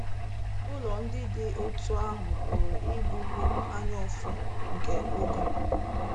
Ụlọ ndị dị otú ahụ pụrụ ịbụwo anyaụfụ nke oge.